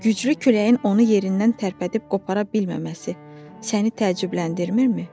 Güclü küləyin onu yerindən tərpədib qopara bilməməsi səni təəccübləndirmirmi?